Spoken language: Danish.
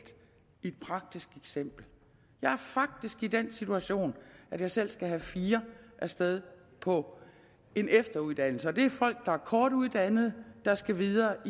give et praktisk eksempel jeg er faktisk i den situation at jeg selv skal have fire af sted på efteruddannelse og det er folk der er kortuddannede der skal videre